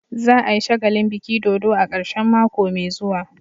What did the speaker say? Za a yi shagalin biki dodo a karshen mako mai zuwa.